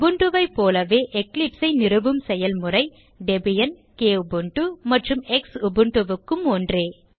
Ubuntu ஐ போலவே Eclipse ஐ நிறுவும் செயல்முறை டெபியன் Kubuntu மற்றும் Xubuntu க்கும் ஒன்றே